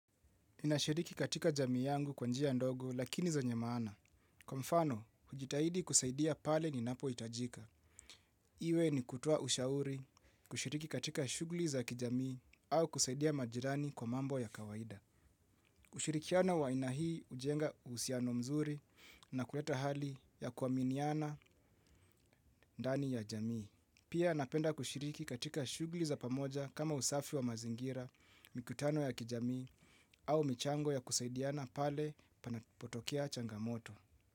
Ninashiriki katika jamii yangu kwa njia ndogo lakini zenye maana. Kwa mfano, hujitahidi kusaidia pale ninapo itajika. Iwe ni kutoa ushauri, kushiriki katika shughli za kijamii au kusaidia majirani kwa mambo ya kawaida. Kushirikiana wa aina hii ujenga uhusiano mzuri na kuleta hali ya kuaminiana ndani ya jamii. Pia, napenda kushiriki katika shughli za pamoja kama usafi wa mazingira, mikutano ya kijamii au michango ya kusaidiana pale panapotokea changamoto.